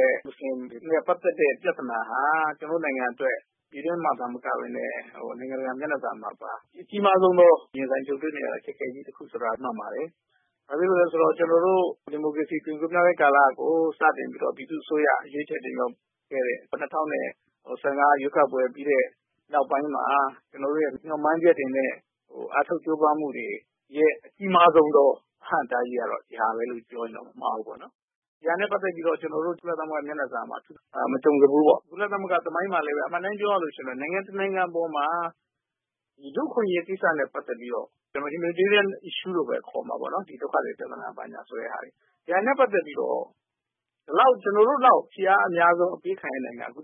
တဲ့ မူစလင်တွေနဲ့ ပတ်သက်တဲ့ ပြဿနာဟာ ကျနော်တို့နိုင်ငံအတွက် ပြည်တွင်းမှာသာမကဘဲ နိုင်ငံတကာမျက်နှာစာမှာပါ အကြီးမားဆုံးသော ရင်ဆိုင်ကြုံတွေ့နေရသော အခက်အခဲ ပြဿနာတခုဆိုတာ မှန်ပါတယ်။ ဘာဖြစ်လို့လဲဆိုတော့ ကျနော်တို့ ဒီမိုကရေစီ အသွင်ကူးပြောင်းရေးကာလကို စတင်ခဲ့တဲ့ ပြည်သူ့အစိုးရ ရွေးချယ်တင်မြှောက်ခဲ့တဲ့ ၂၀၁၅ ရွေးကောက်ပွဲပြီးတဲ့နောက်ပိုင်းမှာ ကျနော်တို့ရဲ့ မျှော်မှန်းချက်တွေနဲ့ အားထုတ်ကြိုးပမ်းမှုတွေရဲ့ အကြီးမားဆုံးသော အဟန့်အတားကြီးကတော့ ဒီကိစ္စပဲလို့ပြောမယ်ဆိုရင် မမှားဘူးပေါ့။ ဒီဟာနဲ့ ပတ်သက်ပြီးတော့ ကျနော်တို့ ကုလသမဂ္ဂ မျက်နှာစာမှာ မကြုံစဖူး၊ အမှန်အတိုင်းပြောရရင် ကုလသမဂ္ဂသမိုင်းမှာ နိုင်ငံတနိုင်ငံပေါ် လူ့အခွင့်အရေးကိစ္စနဲ့ ပတ်သက်ပြီး humanitarian issues ခေါ်တဲ့ ဒုက္ခသည်ပြဿနာနဲ့ ပတ်သက်ပြီး ကျနော်တို့လောက် ဖိအားအများဆုံးပေးခံရတဲ့နိုင်ငံ ကျ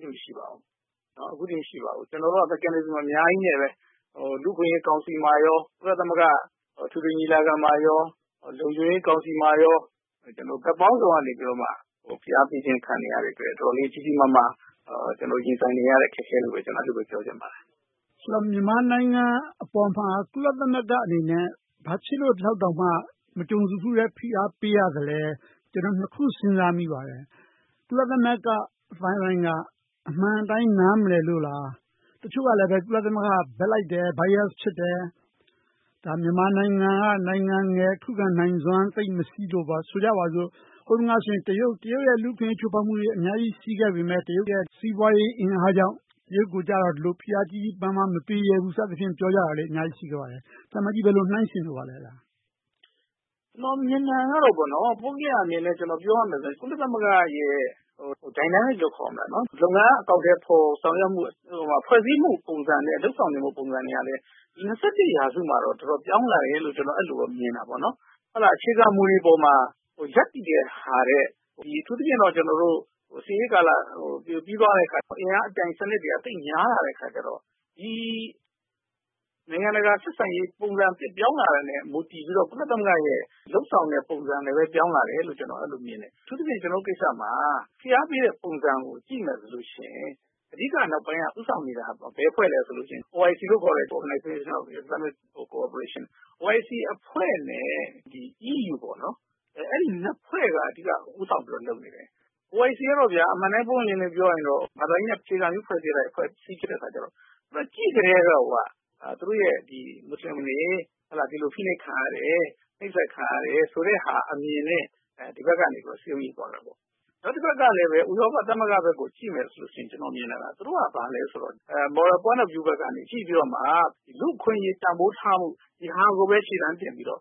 နော်တို့လောက် မရှိပါဘူး။ ကျနော်တို့က လူ့အခွင့်ရေးကောင်စီမှာနဲ့ ကုလသမဂ္ဂအထွေထွေညီလာခံ၊ လုံခြုံရေးကောင်စီတို့မှာ ဘက်ပေါင်းစုံကနေ ဖိအားပေးခြင်း ခံနေရတာမို့ တော်တော်လေး ကြီးကြီးမားမား ရင်ဆိုင်နေရတဲ့ အခက်အခဲလို့ပဲ ပြောချင်ပါတယ်။ မေး ။ ။ ဆိုတော့ မြန်မာနိုင်ငံပေါ် ကုလသမဂ္ဂအနေနဲ့ ဘာဖြစ်လို့ ဒီလောက်တော်မှ မကြုံစဖူးတဲ့ ဖိအားပေးရတာလဲ။ ကျနော် နှစ်ခု စဉ်းစားမိပါတယ်။ ကုလသမဂ္ဂအသိုင်းအဝိုင်းက အမှန်အတိုင်း နားမလည်လို့လား။ တချို့ကလဲ ကုလသမဂ္ဂက ဘက်လိုက်တယ်။ Bias ဖြစ်တယ်။ မြန်မာနိုင်ငံက ခုခံနိုင်စွမ်း သိပ်မရှိလို့ - ဆိုကြပါစို့.. ဟိုတုန်းကဆိုရင် တရုတ်ရဲ့ လူ့အခွင့်အရေး ချိုးဖောက်မှုတွေ အများကြီးရှိခဲ့ပေမယ့် တရုတ်ရဲ့ စီးပွားရေးအင်အားကြောင့် တရုတ်ကို ဒီလိုဖိအားကြီးကြီးမားမား မပေးရဲဘူး စသဖြင့် ပြောကြတာရှိကြပါတယ်။ သံအမတ်ကြီး ဘယ်လိုနှိုင်းယှဉ်လိုပါလဲ။ ဖြေ ။ ။ ကျနော်မြင်တာကို ပုဂ္ဂလိကအမြင်နဲ့ ပြောမယ်ဆိုရင် ကုလသမဂ္ဂရဲ့ လုပ်ငန်းအကောင်အထည်ဖော်၊ ဖွဲ့စည်းမှုပုံစံနဲ့ လုပ်ဆောင်နေတဲ့ ပုံစံတွေက ရာစုမှာ တော်တော်လေး ပြောင်းလာတယ်လို့ အဲဒီလိုမြင်တယ်။ အခြေခံမူတွေပေါ်မှာ ရပ်တည်တာထက် အထူးသဖြင့် စစ်အေးကာလပြီးသွားတဲ့အခါ အင်အားပြိုင်စနစ်တွေက သိပ်များလာတော့ နိုင်ငံတကာဆက်ဆံရေး ပုံစံသစ်ပြောင်းလာတဲ့ပေါ် မူတည်ပြီးတော့ ကုလသမဂ္ဂရဲ့ လုပ်ဆောင်တဲ့ပုံစံလည်း ပြောင်းလာတယ်လို့ အဲဒီလိုမြင်တယ်။ အထူးသဖြင့် ကျနော်တို့ကိစ္စမှာ ဖိအားပေးတဲ့ပုံစံကို ကြည့်မယ်ဆိုရင် အဓိကနောက်ပိုင်းက ဦးဆောင်နေတာ ဘယ်အဖွဲ့လဲဆိုရင် Organisation of Islamic Cooperation အဖွဲ့နဲ့ EU အဲဒီနှစ်ဖွဲ့က အဓိကဦိးဆောင်ပြီး လုပ်နေတယ်။ OIC ကတော့ ဘာသာရေးအခြေခံ အဖွဲ့အစည်းဖြစ်တော့ သူတို့ကြည့်ကတည်းက သူတို့မူစလင်တွေ ဖိနှိပ်ခံနေရတယ်။ နှိပ်စက်ခံရတယ်ဆိုတဲ့ အမြင်နဲ့ စည်းရုံးကြတယ်။ တဘက်မှာရှိတဲ့ ဥရောပသမဂ္ဂကို ကြည့်မယ်ဆိုရင် သူတို့က Moral Point of View ဘက်က ကြည့်ပြီးတော့ လူ့အခွင့်အရေး တန်းဖိုးထားမှု ဒါကိုပဲ အခြေခံပြီး လုပ်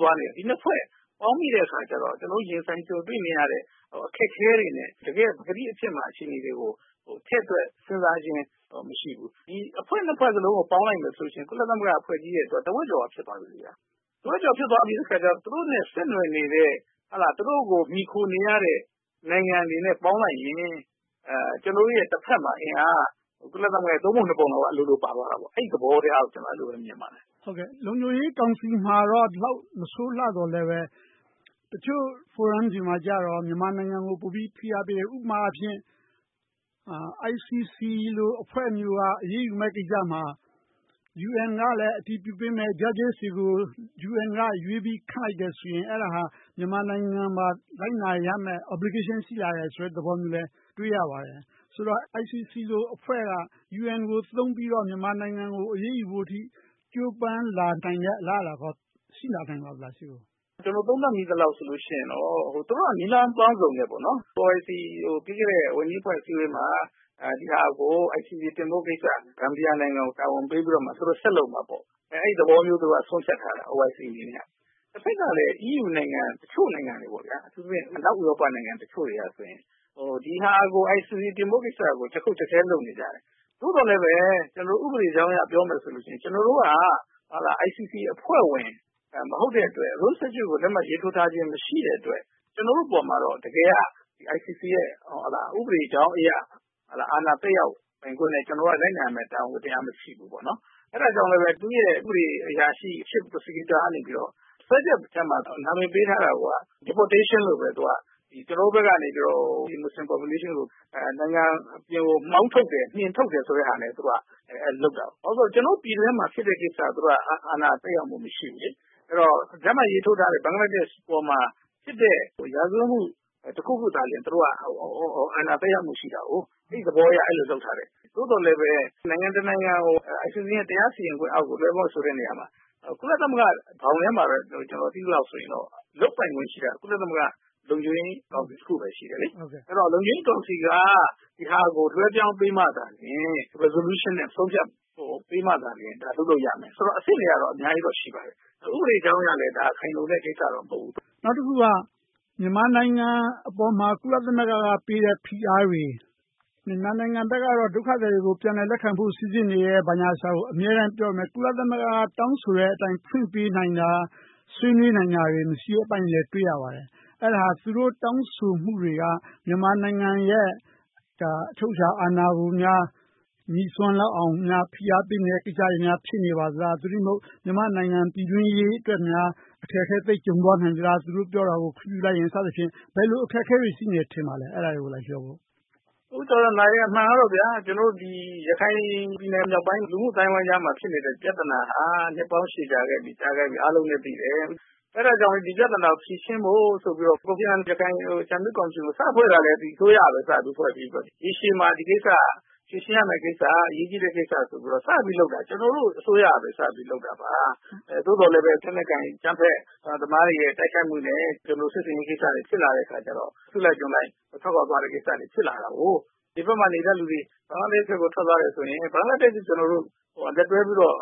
သွားနေတယ်။ ဒီနှစ်ဖွဲ့ပေါင်းမိတော့ ကျနော်တို့ ရင်ဆိုင်ကြုံတွေ့နေရတဲ့ အခက်အခဲတွေနဲ့ တကယ့်ပကတိအခြေအနေတွေကို ထည့်တွက်စဉ်းစားခြင်း မရှိဘူး။ ဒီအဖွဲ့နှစ်ဖွဲ့စလုံးကို ပေါင်းလိုက်မယ်ဆိုရင် ကုလသမဂ္ဂအဖွဲကြီးရဲ့ တဝက်ကျော်လောက် ဖြစ်သွားတော့ သူတို့နဲ့ ဆက်နွှယ်နေတဲ့ သူတို့ကို မှီခိုနေရတဲ့ နိုင်ငံတွေနဲ့ ပေါင်းလိုက်ရင် ကျနော်တို့ရဲ့ တဘက်မှာ အင်အားက ကုလသမဂ္ဂရဲ သုံးပုံနှစ်ပုံလောက် အလိုလိုပါသွားတော့ အဲဒီသဘောလို့ မြင်ပါတယ်။ မေး ။ ။ လုံခြုံရေးကောင်စီမှာတော့ ဒီလောက်မစိုးလှသော်လဲ တချို့ဖိုရမ်တွေမှာကြတော့ မြန်မာနိုင်ငံကို ပိုပြီးတော့ ဖိအားပေးတယ်။ ဥပမာအားဖြင့် International Criminal Court အဖွဲ့မျိုးက အရေးယူမယ့်ကိစ္စမှာ UN ကလည်း အတည်ပြုပေးမယ် Judges တွေကို UN က ရွေးပြီးခန့်လိုက်မယ်ဆိုရင် မြန်မာနိုင်ငံကပါ လိုက်နာရမယ့် Obligation ရှိလာမယ့်သဘောမျိုးလည်း တွေ့ရပါတယ်။ ဆိုတော့ ICC အဖွဲ့က UN ကို သုံးပြီးတော့ မြန်မာနိုင်ငံကို အရေးယူနိုင်တဲ့ ကြိုးပမ်းလာနိုင်တာတွေ ရှေ့မှာ ရှိလာနိုင်ပါသလား။ ဖြေ ။ ။ ကျနော်သုံးသပ်မိသလောက် သူတို့က နည်းလမ်းပေါင်းစုံနဲ့ ပေါ်လစီကို ပြီးခဲ့တဲ့ ဝန်ကြီးအဖွဲ့ အစည်းအဝေးမှာ ဒီဟာကို ICC တင်ပြဖို့ကိစ္စကို ဂမ်ဘီယာနိုင်ငံကို တာဝန်ပေးပြီး သူတို့ဆက်လုပ်မယ်ဆိုတဲ့ သဘောမျိုး ဆုံးဖြတ်ထားကြတယ်။ တဘက်ကလည်း အီးယူနိုင်ငံတချို့က အထူးသဖြင့် အနောက်ဥရောပနိုင်ငံတချို့က ICC တင်ဖို့ကိစ္စကို ကျားခုတ်ကျားခဲ လုပ်နေကြတယ်။ သို့သော်လဲပဲ ဥပဒေကြောင်းရ ပြောမယ်ဆိုရင် ကျနော်တို့က ICC အဖွဲ့ဝင် မဟုတ်တဲ့အတွက် လက်မှတ်ရေးထိုးထားခြင်း မရှိတဲ့အတွက် ကျနော်တို့အပေါ် တကယ်က ICC ရဲ့ ဥပဒေကြောင်းရ အာဏာသက်ရောက်ပိုင်ခွင့်နဲ့ ကျနော်တို့က လိုက်နာရမယ့် တာဝန်ဝတ္တရား မရှိဘူး။ အဲဒါကြောင့်လဲ သူ့ရဲ့ဥပဒေအရာရှိ Chief Prosecutor က စွဲချက်ထဲမှာ နာမည်ပေးထားတာကိုက Deportation ကျနော်တို့ဘက်ကနေ မူစလင်အုပ်စုကို နိုင်ငံအပြင်ကို မောင်းထုတ်တယ်၊ နှင်ထုတ်တယ်ဆိုတဲ့ စွဲဆိုချက်နဲ့ လုပ်ထားတယ်။ ဘာဖြစ်လို့လဲဆိုတော့ ကျနော်တို့ပြည်တွင်းမှာ ဖြစ်တဲ့ကိစ္စကို သူတို့က အာဏာသက်ရောက်မှု မရှိဘူး။ အဲဒီတော့ လက်မှတ်ရေးထိုးထားတဲ့ ဘင်္ဂလားဒေ့ရှ်ပေါ်မှာဖြစ်တဲ့ ရာဇဝတ်မှု တခုခုပေါ်မှာသာ သူတို့က အာဏာသက်ရောက်မှုရှိတယ်။ အဲဒီသဘောအရ အဲဒီလိုလုပ်ထားတယ်။ သို့သော်လဲပဲ နိုင်ငံတနိုင်ငံကို ICC ရဲ့ တရားစီရင်ခွင့်အောက်ကို လွှဲဖို့ဆိုတာ ကုလသမဂ္ဂဘောင်ထဲမှာပဲ ကျနော်သိသလောက်ဆိုရင် လုပ်ပိုင်ခွင့်ရှိတာ ကုလသမဂ္ဂလုံခြုံရေးကောင်စီ တခုပဲ ရှိတယ်။ အဲဒီတော့ လုံခြုံရေးကောင်စီက ဒီဟာကို လွှဲပြောင်းပေးမှာသာလျှင် Resolutions နဲ့ ဆုံးဖြတ်ချက်ပေးမှာသာ လုပ်လို့ရမယ်။ အဆင့်တွေကတော့ အများကြီးရှိပါတယ်။ ဥပဒေကြောင်းအရလဲ ခိုင်လုံတဲ့ကိစ္စတော့ မဟုတ်ဘူး။ မေး ။ ။ နောက်တခုက မြန်မာနိုင်ငံပေါ် ကုလသမဂ္ဂပေးတဲ့ ဖိအားတွေ။ မြန်မာနိုင်ငံဘက်ကတော့ ဒုက္ခသည်တွေကို ပြန်လည်စီစစ်နေတယ် ဘာညာကို အမြဲတမ်းပြောပေမယ့် ကုလသမဂ္ဂ တောင်းဆိုတဲ့အတိုင်း ဖွင့်ပေးတာတွေ၊ ဆွေးနွေးနိုင်တာတွေ မရှိတာကို တွေ့ရပါတယ်။ အဲဒါ သူတို့တောင်းဆိုမှုတွေက မြန်မာနိုင်ငံရဲ့ အချုပ်အခြာအာဏာကို ငြိ့စွန်းလောက်အောင်များ ဖိအားပေးနေတဲ့ ကိစ္စတွေ ဖြစ်နေပါသလား။ သို့တည်းမဟုတ် မြန်မာနိုင်ငံပြည်တွင်းရေးအတွက် အခက်အခဲ သိပ်ကြုံသွားနိုင်မလား - သူတို့တောင်းဆိုတာကို ခွင့်ပြုလိုက်ရင် စသဖြင့် ဘယ်လိုအခက်အခဲတွေ ရှိနေပါသလဲ။ ဖြေ ။ ။ အမှန်ကတော့ ရခိုင်ပြည်နယ်မြောက်ပိုင်း လူ့မှုအသိုင်းအဝိုင်းကြားမှာ ဖြစ်နေတဲ့ပြဿနာဟာ နှစ်ပေါင်းရှည်ကြာခဲ့ပြီ။ အားလုံးလည်းသိတယ်။ အဲဒါကြောင့်လဲ ဒီပြဿနာကို ဖြေရှင်းဖို့ဆိုပြီးတော့ ကိုဖိအာနန် ဦးဆောင်တဲ့ အကြံပေးကော်မရှင်ကို စဖွဲ့ခဲ့တာ ဒီအစိုးရကပဲ စဖွဲ့စည်းခဲ့တယ်။ ရေရှည်မှာ ဒီကိစ္စက ဖြေရှင်းရမယ့်ကိစ္စ၊ အရေးကြီးတဲ့ကိစ္စဆိုပြီး စလုပ်တာ ကျနော်တို့အစိုးရကပဲ စပြီးလုပ်တာပါ။ သို့သော်လဲ လက်နက်ကိုင်အကြမ်းဖက်သမားတွေရဲ့ တိုက်ခိုက်မှုနဲ့ စစ်ဆင်ရေးကိစ္စတွေ ဖြစ်လာတော့ အစုလိုက်အပြုံလိုက် ထွက်ခွါသွားတဲ့ကိစ္စတွေ ဖြစ်လာတယ်။ ဒီဘက်မှာနေတဲ့လူတွေ ဘင်္ဂလားဒေ့ရှ်ကို ထွက်ခွါသွားတယ်ဆိုရင် ဘင်္ဂလားဒေ့ရှ်နဲ့ လက်တွဲပြီးတော့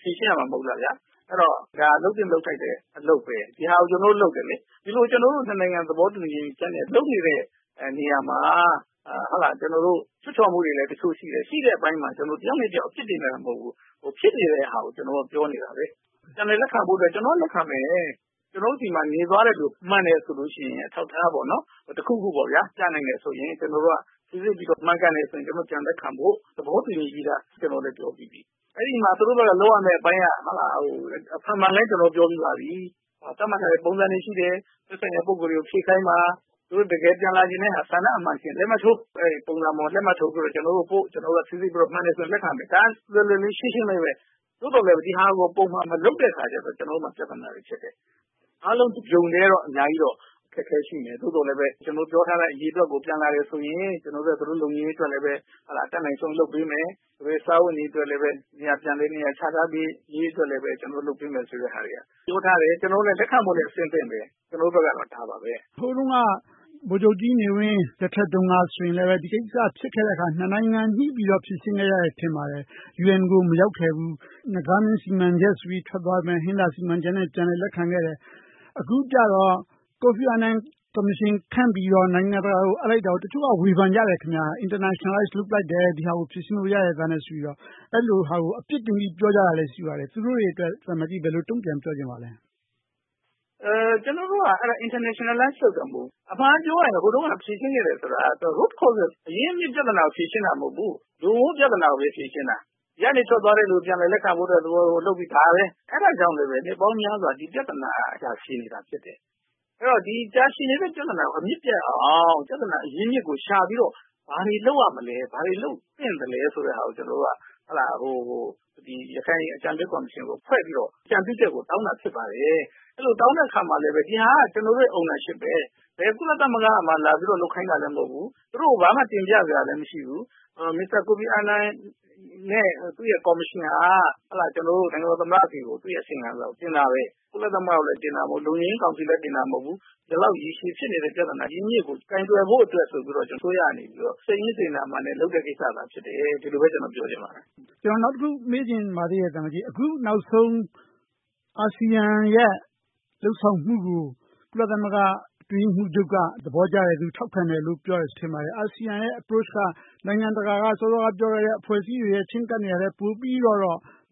ဖြေရှင်းရမှာ မဟုတ်ဘူးလား။ ဒါက လုပ်သင့်လုပ်ထိုက်တဲ့ အလုပ်ပါ။ ဒီဟာကို ကျနော်တို့ လုပ်နေတယ်။ ဒီလို ကျနော်တို့နှစ်နိုင်ငံ သဘောတူပြီး လုပ်နေတဲ့နေရာမှာ ချွတ်ချော်မှုတွေလည်း တချို့ရှိတယ်။ အဲဒီမှာ ကျနော်တို့ တယောက်နဲ့တယောက် အပြစ်တင်နေတာ မဟုတ်ဘူး။ ဖြစ်နေတဲ့ဟာကို ပြောနေတာ။ ပြန်လည်းလက်ခံဖို့အတွက် ကျနော်တို့က လက်ခံမယ်။ ကျနော်တို့ဆီမှာ နေသွားတဲ့လူတွေ မှန်တယ်ဆိုရင် အထောက်အထား တခုခုပြနိုင်တယ်ဆိုရင် ကျနော်တို့က စီစစ်ပြီးတော့ မှန်ကန်တယ်ဆိုရင် ပြန်လည်လက်ခံမယ်လို့ သဘောတူညီပြီးပြီ။ အဲဒီမှာ သူတို့ဘက်က လုပ်ရမှာက အဖန်ဖန်အလဲလဲ ကျနော်တို့ပြောပြီးပါပြီ… သတ်မှတ်ထားတဲ့ ပုံစံတွေရှိတယ်။ သက်ဆိုင်ရာပုဂ္ဂိုလ်တွေကို ဖြည့်ခိုင်းပါ။ တကယ်ပြန်လာချင်တဲ့ ဆန္ဒအမှန်ရှိရင် လက်မှတ်ထိုး၊ ကျနော်တို့က စီစစ်ပြီးတော့ မှန်တယ်ဆိုရင် လက်ခံမယ်။ ဒါက လွယ်လွယ်လေး၊ ရှင်းရှင်းလေးပါ။ သို့သော်လဲ ဒီဟာကို ပုံမှန်မလုပ်တဲ့အခါကြတော့ ကျနော်တို့မှာ ပြဿနာတွေဖြစ်တယ်။ အားလုံး တပြုံတည်းတော့ အခက်အခဲရှိတယ်။ သို့သော်လဲပဲ ကျနော်တို့ပြောထားတဲ့ အရေအတွက် ပြန်လာတယ်ဆိုရင် သူတို့လုံခြုံရေးအတွက်လည်း တတ်နိုင်ဆုံး လုပ်ပေးမယ်။ သူတို့ရဲ့ စားဝတ်နေရေးအတွက်လည်း ပြန်လည်နေရာချထားရေးကိုလည်း ကျနော်တို့ လုပ်ပေးမယ်ဆိုတာကို ပြောထားတယ်။ လက်ခံမယ်ဆိုတာကိုလည်း အဆင်သင့်ပါပဲ။ ကျနော်တို့ဘက်က ဒါပါပဲ။ မေး ။ ။ ဟိုတုန်းက ဗိုလ်ချုပ်ကြီးနေဝင်းလက်ထက်တုန်းက ဒီကိစ္စဖြစ်ခဲ့တာကို နှစ်နိုင်ငံညှိပြီးတော့ ဖြေရှင်းခဲ့တယ်လို့ ထင်ပါတယ်။ UN ကို မရောက်ခဲ့ဘူး။ နဂါးမင်းစီမံချက်ကြောင့် ထွက်သွားကြတာကို ဟင်္သာစီမံချက်နဲ့ လက်ခံခဲ့တယ်။ အခုကြတော့ ကိုဖီအာနန်ကော်မရှင် ခန့်ပြီးတော့ နိုင်ငံတကာကို အပ်လိုက်တာကို တချို့က ဝေဖန်ကြတယ်။ နိုင်ငံတကာ လက်ထဲထည့်လိုက်တယ်။ ဒီဟာကို ကိုယ်ဘာသာဖြေရှင်းလို့ ရသားနဲ့ဆိုပြီးတော့ အဲဒီလို အပြစ်တင်ပြီး ပြောကြတာ ရှိပါတယ်။ သူတို့တွေကို သံအမတ်ကြီး ဘယ်လိုတုံ့ပြန်ပြောလိုပါလဲ။ ဖြေ ။ ။ ကျနော်တို့က အဲဒါ Internationalize လုပ်တာမဟုတ်ဘူ။ အမှန်က ဟိုတုန်းက ဖြေရှင်းခဲ့တယ်ဆိုတာက အရင်းအမြစ်ပြဿနာကို ဖြေရှင်းတာ မဟုတ်ဘူး။ နဂိုပြဿနာကိုပဲ ဖြေရှင်းတာ။ ဒီကနေထွက်သွားတဲ့လူကို ပြန်လည်လက်ခံဖို့ သဘောတူလုပ်လာတာ ဒါပဲ။ အဲဒါကြောင့်လဲ နှစ်ပေါင်းများစွာ ဒီပြဿနာက တာရှည်နေတာဖြစ်တယ်။ အဲဒီတော့ ဒီတာရှည်နေတဲ့ ပြဿနာကို အမြစ်ပြတ်အောင် ပြဿနာအရင်းအမြစ်ကို ရှာပြီးတော့ ဘာတွေလုပ်ရမလဲ။ ဘာတွေလုပ်သင့်သလဲဆိုပြီးတော့ ရခိုင်အကြံပေးကော်မရှင်ကို ဖွဲ့ပြီးတော့ အကြံပြုချက်ကို တောင်းတာဖြစ်တယ်။ အဲဒီလိုတောင်းတဲ့အခါမှာလဲ ဒီဟာက ကျနော်တို့ကိုယ်ပိုင်ပဲ ဘယ် ကုလသမဂ္ဂ အဖွဲ့အစည်းက လာပြီးလုပ်ခိုင်းတာ မဟုတ်ဘူး။ သူတို့ကို ဘာမှတင်ပြစရာ မရှိဘူး။ မစ္စတာကိုဖီအာနန်နဲ့ သူ့ရဲ့ကော်မရှင်က ကျနော်တို့ နိုင်ငံတော်သမ္မတဆီကို သူ့ရဲ့အစီရင်ခံစာတင်ရတယ်။ ကုလသမဂ္ဂနဲ့ လုံခြုံရေးကောင်စီ တို့ကို တင်ရတာ မဟုတ်ဘူး။ ဒီလောက်ရေရှည်ဖြစ်နေတဲ့ ပြဿနာအရင်းအမြစ်ကို ကိုင်တွယ်ဖို့အတွက် ဒီအစိုးရက စိတ်ရင်းစေတနာအမှန်နဲ့ လုပ်တဲ့ကိစ္စသာ ဖြစ်တယ်။ ဒီလိုပဲ ကျနော်ပြောချင်ပါတယ်။ မေး ။ ။ ကျနော်နောက်တခု မေးချင်ပါသေးတယ်။ အခုနောက်ဆုံး အာဆီယံရဲ့ လုပ်ဆောင်မှုကို ကုလသမဂ္ဂ အတွင်းရေးမှူးချုပ်က သဘောကျတယ်။ ထောက်ခံတယ်လို ပြောတယ်ထင်ပါတယ်။ အာဆီယံရဲ့ ချဉ်းကပ်မှုက နိုင်ငံတကာက စောစောကပြောခဲ့တဲ့ အဖွဲ့အစည်းတွေရဲ့ ချဉ်းကပ်မှုထက် ပိုပြီးတော့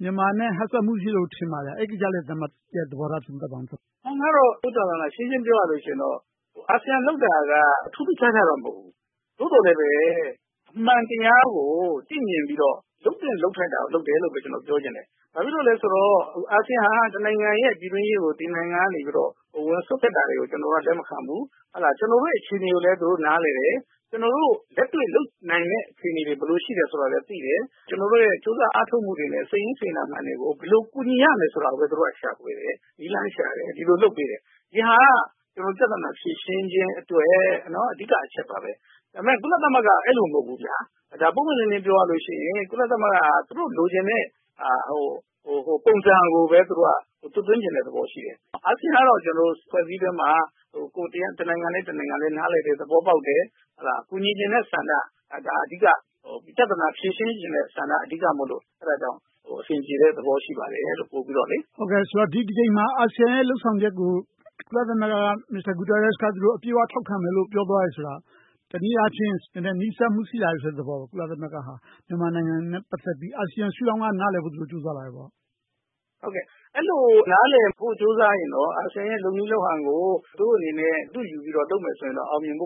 မြန်မာနဲ့ဟပ်ဆက်မှု ရှိတယ်ထင်ပါတယ်။ အဲဒီကိစ္စကို သံအမတ်ကြီးရဲ့ သဘောထားကို ပြောပြပါ။ သုံးသပ်ပြပါ။ ဖြေ ။ ။ အမှန်ကတော့ ရှင်းရှင်းပြောရရင်တော့ အာဆီယံလုပ်တာကတော့ ထူးထူးခြားခြား မဟုတ်ဘူး။ သို့သော်လဲပဲ အမှန်တရားကို သိမြင်ပြီးတော့ လုပ်သင့်လုပ်ထိုက်တာကို လုပ်တယ်လို့ပဲ ပြောချင်တယ်။ ဘာဖြစ်လို့လဲဆိုတော့ အာဆီယံက တနိုင်ငံရဲ့ ပြည်တွင်းရေးကို တခြားနိုင်ငံက ဝင်ရောက်စွက်ဖက်တာတွေကို လက်မခံဘူး။ ကျနော်တို့ရဲ့ အခြေအနေတွေကိုလည်း သူတို့နားလည်တယ်။ ကျနော်တို့ လက်တွေ့လုပ်နိုင်မယ့် အခြေအနေတွေ ဘယ်လိုရှိမလဲဆိုတာကိုလည်း သူတို့သိတယ်။ ကျနော်တို့ရဲ့ ကြိုးစားအားထုတ်မှုတွေနဲ့ စိတ်ရင်းစေတနာမှန်တွေကို ဘယ်လိုကူညီရမလဲဆိုတာကို သူတို့က ရှာဖွေတယ်။ နည်းလမ်းရှာတယ်။ ဒီလိုလုပ်ပေးတယ်။ ဒီဟာက ပြဿနာဖြေရှင်းရေးအတွက် အဓိကအချက်ပါပဲ။ ဒါပေမဲ့ ကုလသမဂ္ဂက အဲဒီလိုမဟုတ်ဘူး။ ပွင့်ပွင့်လင်းလင်း ပြောရမယ်ဆိုရင် ကုလသမဂ္ဂက သူတို့လိုချင်တဲ့ ပုံစံကိုပဲ သူတို့က သွတ်သွင်းချင်တဲ့သဘောရှိတယ်။ အာဆီယံကတော့ အဖွဲ့အစည်းတွင်းမှာ တနိုင်ငံနဲ့တနိုင်ငံ နားလည်ကြတယ်။ သဘောပေါက်တယ်။ ကူညီချင်တဲ့ဆန္ဒ အဓိက ပြဿနာဖြေရှင်းချင်တဲ့ဆန္ဒ အဓိကဖြစ်လို့ အဆင်ပြေတဲ့သဘော ရှိပါတယ်။ မေး ။ ။ ဆိုတော့ ဒီတကြိမ်မှာ အာဆီယံလုပ်ဆောင်ချက်ကို ကုလသမဂ္ဂက António Guterres က အပြည့်အဝထောက်ခံမယ်လို့ ပြောသွားတယ်ဆိုတာ တနည်းအားဖြင့် နည်းနည်းနီးစပ်မှု ရှိလာတယ့်သဘောပေါ့။ ကုလသမဂ္ဂဟာ မြန်မာနိုင်ငံနဲ့ ပတ်သက်ပြီး အာဆီယံရှုထောင့်ကနေ နားလည်ဖို့ ကြိုးစားလာတယ်ပေါ့။ ဖြေ ။ ။ ဟုတ်ကဲ အဲဒီလို နားလည်ဖို့ ကြိုးစားရင်တော့ အာဆီယံလည်း လုပ်နည်းလုပ်ဟန်ကို သူတို့အနေနဲ့ အတုယူပြီးလုပ်မယ်ဆိုရင်တော့ အောင်မြင်ဖို့